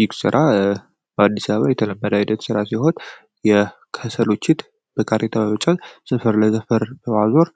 ይህ ስራ በአዲስ አበባ የተለመደ ሲሆን የከሰሎችን በካሬታ በመጫን ሰፈር ለሰፈር በማዞር